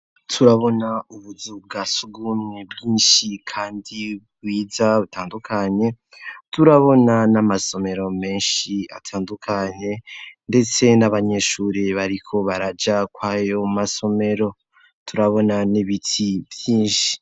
Turabona ubuzu bwasugumwe bwinshi kandi bwiza butandukanye .turabona n'amasomero menshi atandukanye ndetse n'abanyeshuri bariko baraja kwayo masomero turabona n'ibiti vyinshi.